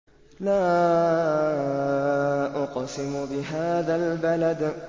لَا أُقْسِمُ بِهَٰذَا الْبَلَدِ